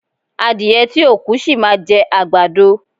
Adìẹ tí ò kú, sì máa jẹ àgbàdo.